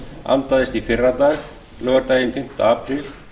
andaðist í fyrradag laugardaginn fimmti apríl